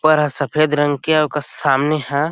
ऊपर ह सफ़ेद रंग के अउ एकर सामने ह--